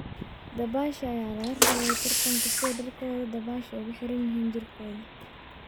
Dabaasha ayaa laga reebay tartanka sida dharkooda dabaasha ugu xiran yihiin jirkooda.